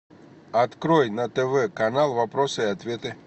открой на тв канал вопросы и ответы